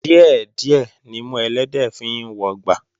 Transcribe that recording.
Díẹ̀ díẹ̀ nimú ẹlẹ́dẹ̀ẹ́ fi ń wọgbà